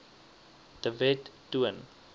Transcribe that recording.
de wet toon